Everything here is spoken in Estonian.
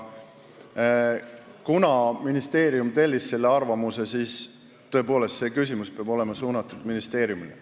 Ja kuna ministeerium tellis selle arvamuse, siis tõepoolest peaks see küsimus olema suunatud ministeeriumile.